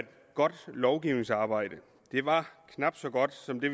godt lovgivningsarbejde var knap så godt som det